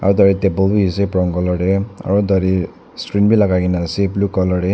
tare table bi ase brown colour te aro tade string bi lakai kena ase blue colour te.